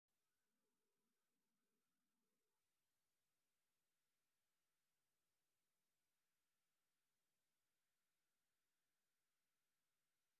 Ardayda waxay helaan aqoon qiimo leh oo ku wajahan horumarkooda shakhsi ahaaneed.